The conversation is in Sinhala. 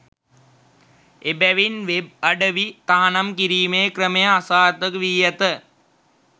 එබැවින් වෙබ් අඩවි තහනම් කිරීමේ ක්‍රමය අසාර්ථකවී ඇත